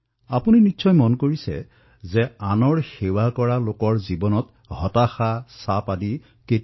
আপোনালোকে দেখিছে যে আনৰ সেৱাত ব্ৰতী লোকৰ জীৱনত কোনো হতাশা বিমৰ্ষতা নাথাকে